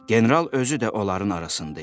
General özü də onların arasında idi.